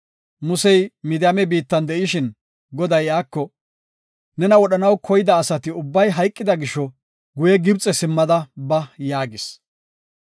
Musey Midiyaame biittan de7ishin Goday iyako, “Nena wodhanaw koyida asati ubbay hayqida gisho guye Gibxe simmada ba” yaagis.